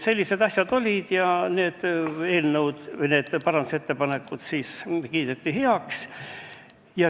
Sellised asjad olid ja parandusettepanekud kiideti heaks.